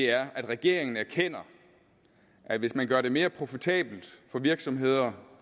er at regeringen erkender at hvis man gør det mere profitabelt for virksomheder